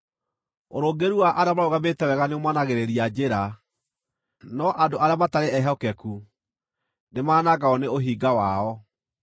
Ũrũngĩrĩru wa arĩa marũgamĩte wega nĩũmonagĩrĩria njĩra, no andũ arĩa matarĩ ehokeku, nĩmanangagwo nĩ ũhinga wao.